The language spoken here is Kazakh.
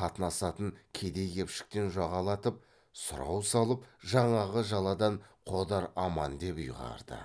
қатынасатын кедей кепшіктен жағалатып сұрау салып жаңағы жаладан қодар аман деп ұйғарды